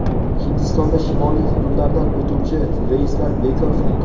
Hindistonda shimoliy hududlardan o‘tuvchi reyslar bekor qilingan.